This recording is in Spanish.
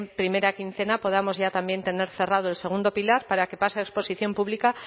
primera quincena podamos ya también tener cerrado el segundo pilar para que pase a exposición pública